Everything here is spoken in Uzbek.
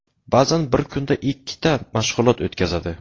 Ba’zan bir kunda ikkita mashg‘ulot o‘tkazadi.